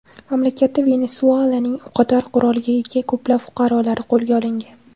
Mamlakatda Venesuelaning o‘qotar qurolga ega ko‘plab fuqarolari qo‘lga olingan.